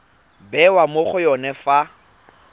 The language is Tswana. bewa mo go yone fa